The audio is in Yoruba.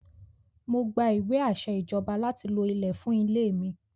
Mo gba ìwé àṣẹ Ìjọba láti lo ilẹ̀ fún ilẹ̀ mi.